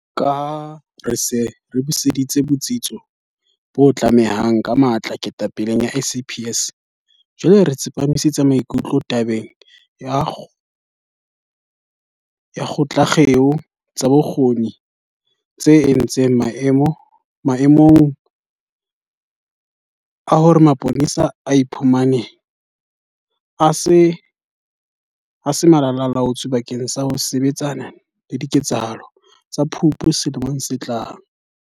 Ka ha re se re buseditse botsitso bo batlehang ka matla ketapeleng ya SAPS, jwale re tsepamisitse maikutlo tabeng ya ho ngotla dikgeo tsa bokgoni tse entseng maemong a hore mapolesa a iphumane a se Malala-a-laotswe bakeng sa ho sebetsana le diketsahalo tsa Phupu selemong se fetileng.